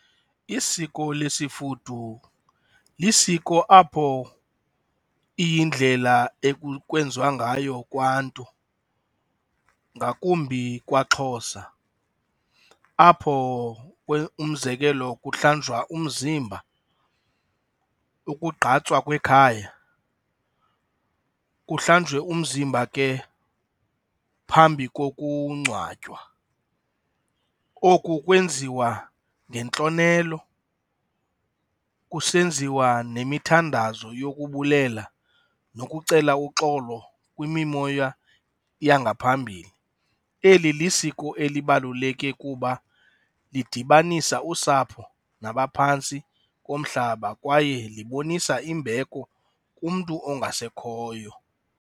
Isiko lesifudu lisiko apho iyindlela ekwenziwa ngayo kwantu ngakumbi kwaXhosa apho umzekelo kuhlanjwe umzimba, ukugqatswa kwekhaya, kuhlanjwe umzimba ke phambi kokungcwatywa. Oku kwenziwa ngentlonelo kusenziwa nemithandazo yokubulela nokucela uxolo kwimimoya yangaphambili. Eli lisiko elibaluleke kuba lidibanisa usapho nabaphantsi komhlaba kwaye libonisa imbeko kumntu ongasekhoyo.